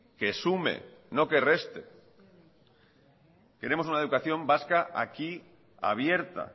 que sume y no que reste queremos una educación vasca aquí abierta